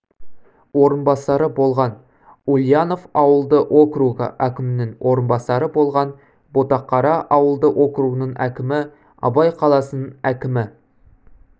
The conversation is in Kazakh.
орынбасары болған ульянов ауылды округы әкімінің орынбасары болған ботақара ауылды округының әкімі абай қаласының әкімі